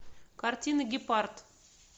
картина гепард